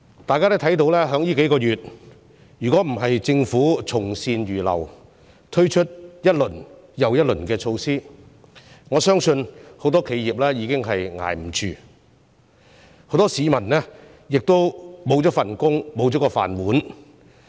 大家都看到，這數個月若不是政府從善如流，推出一輪又一輪的措施，我相信很多企業已經撐不下去，很多市民亦會失去工作，生計不保。